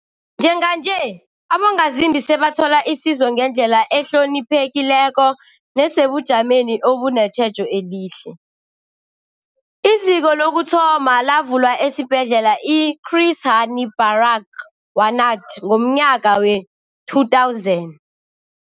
Njenganje, abongazimbi sebathola isizo ngendlela ehloniphekileko nesebujameni obunetjhejo elihle. IZiko lokuthoma lavulwa esiBhedlela i-Chris Hani Baragwanath ngomnyaka we-2000.